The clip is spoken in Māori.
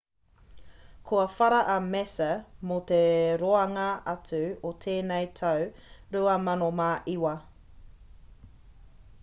kua whara a massa mō te roanga atu o tēnei tau 2009